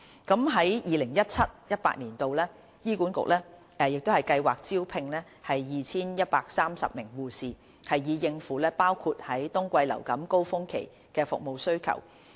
在 2017-2018 年度，醫管局計劃招聘 2,130 名護士，以應付包括在冬季流感高峰期的服務需求。